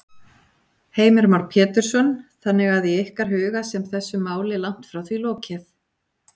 Heimir Már Pétursson: Þannig að í ykkar huga sem þessu máli langt því frá lokið?